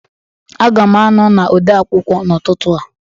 Aga m anọ na odeakwụkwọ n'ụtụtụ a